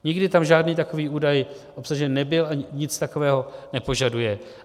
Nikdy tam žádný takový údaj obsažen nebyl ani nic takového nepožaduje.